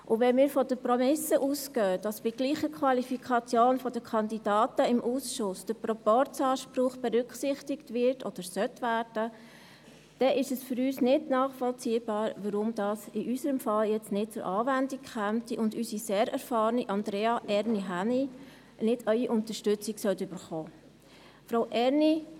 Und wenn wir von der Prämisse ausgehen, dass im Ausschuss bei gleicher Qualifikation der Kandidaten der Proporzanspruch berücksichtigt wird oder werden sollte, ist es für uns nicht nachvollziehbar, weshalb dies in unserem Fall jetzt nicht zur Anwendung kommen und unsere sehr erfahrene Andrea Erni Hänni nicht Ihre Unterstützung erhalten sollte.